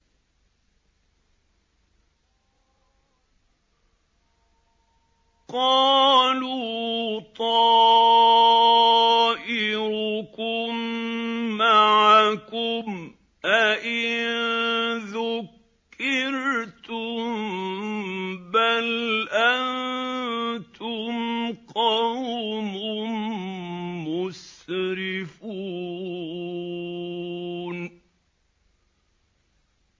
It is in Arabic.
قَالُوا طَائِرُكُم مَّعَكُمْ ۚ أَئِن ذُكِّرْتُم ۚ بَلْ أَنتُمْ قَوْمٌ مُّسْرِفُونَ